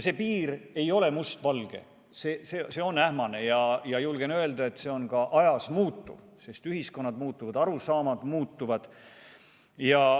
See piir ei ole mustvalge, see on ähmane ja julgen öelda, et see on ka ajas muutuv, sest ühiskonnad muutuvad ja arusaamad muutuvad.